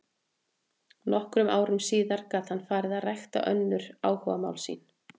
Nokkrum árum síðar gat hann farið að rækta önnur áhugamál sín.